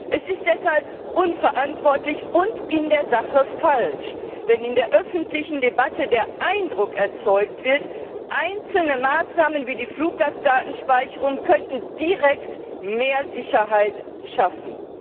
Käse. Es ist deshalb unverantwortlich und in der Sache falsch, wenn in der öffentlichen Debatte der Eindruck erzeugt wird, einzelne Maßnahmen wie die Fluggastdatenspeicherung könnten direkt mehr Sicherheit schaffen.